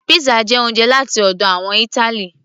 pizza jẹ oúnjẹ láti ọ̀dọ̀ àwọn ìtali